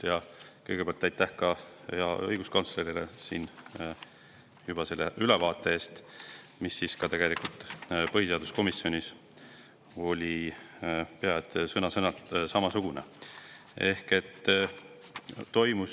Ja kõigepealt aitäh ka õiguskantslerile selle ülevaate eest, mis tegelikult põhiseaduskomisjonis oli pea sõna-sõnalt sama.